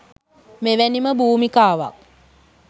මෙවැනිම භූමිකාවක්